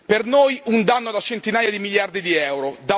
Per noi un danno da centinaia di miliardi di euro